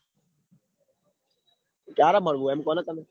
ચ્યારે મલવું એમ કોને તમે